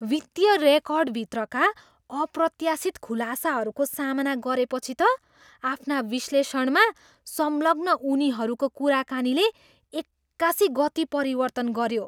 वित्तीय रेकर्डभित्रका अप्रत्याशित खुलासाहरूको सामना गरेपछि त आफ्ना विश्लेषणमा संलग्न उनीहरूको कुराकानीले एक्कासी गति परिवर्तन गऱ्यो।